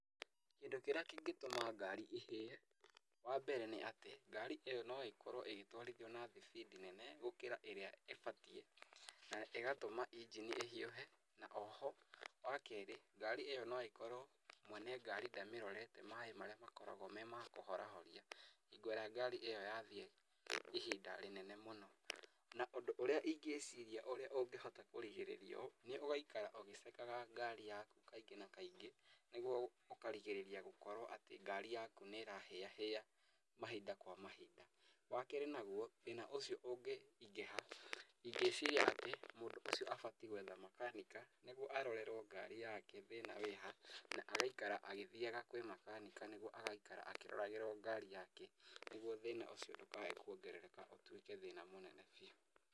Kĩndũ kĩrĩa kĩngĩtũma ngari ĩhĩe, wa mbere nĩ atĩ ngari ĩyo no ĩkorwo ĩgĩtwarithio na thibindi nene gũkĩra ĩrĩa ĩbatĩĩ na ĩgatũma ĩngini ĩhĩũhe na oho wa kerĩ ngari ĩyo no ĩkorwo mwene ngari ndamĩrorete maĩ marĩa makoragwo me makũhorahoria hingo ĩrĩa ngari ĩyo yathĩĩ ihinda rĩnene mũno. Na ũndũ ũrĩa ĩngĩciria ũrĩa ũngĩhota kũrigĩrĩria ũyũ nĩ ũgaikara ũgĩcekaga ngari yaku kaingĩ na kaingĩ niguo ũkarĩgĩrĩria gũkorwo atĩ ngari yaku nĩ ĩrahĩyahĩya mahinda kwa mahinda. Wa kerĩ naguo thĩna ũcio ũngĩ ĩngĩciria atĩ mũndũ ũcio abatĩ gwetha makanika niguo arorerwo ngari yake thĩna wĩha na agaĩkara agĩthiyaga kwĩ makanika niguo agaĩkara akĩroragĩrwo ngari yake niguo thĩna ũcio ndũkae kwongerereka ũtuĩke thĩna mũnene bĩu.